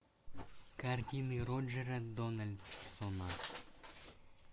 картины роджера дональдсона